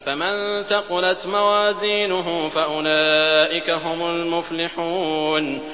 فَمَن ثَقُلَتْ مَوَازِينُهُ فَأُولَٰئِكَ هُمُ الْمُفْلِحُونَ